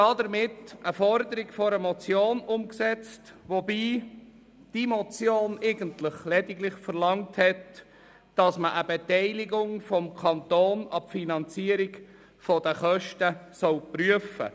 Damit würde die Forderung einer Motion umgesetzt, wobei die Motion eigentlich lediglich verlangt hat, man solle eine Beteiligung des Kantons an die Finanzierung der Kosten prüfen.